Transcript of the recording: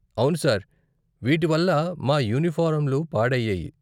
అవును సార్, వీటి వల్ల మా యూనిఫారంలు పాడయ్యాయి.